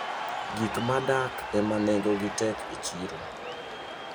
Gik madak ema nengogi tek e chiro.